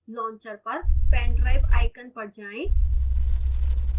launcher पर pendrive icon पर जाएं